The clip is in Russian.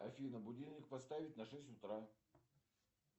афина будильник поставить на шесть утра